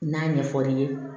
N'a ɲɛ fɔr'i ye